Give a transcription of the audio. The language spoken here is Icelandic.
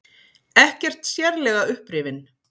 Ekkert sérlega upprifinn.